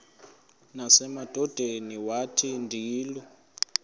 nasemadodeni wathi ndilu